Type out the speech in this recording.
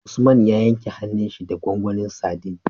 Usman ya yanke hanun shi da gwangwanin sadin